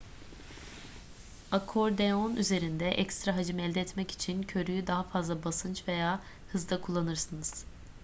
akordeon üzerinde ekstra hacim elde etmek için körüğü daha fazla basınç veya hızda kullanırsınız